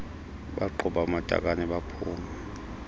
baqhuba amatakane baphuma